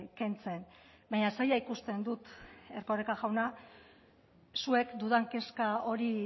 kentzen baina zaila ikusten dut erkoreka jauna zuek dudan kezka hori